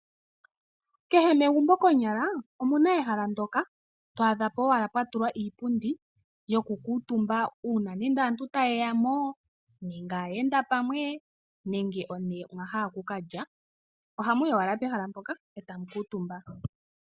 Kehe megumbo konyala omu na ehala ndjoka to adha po wala pwa tulwa iipundi yoku kiitumba uuna nando aantu taye ya mo nenge aayenda pamwe nenge one mwa hala oku kalya oha muyi wala pehala mpoka e tamu kuutumba.